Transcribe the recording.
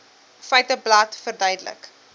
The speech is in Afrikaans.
feiteblad verduidelik